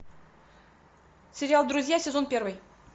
сериал друзья сезон первый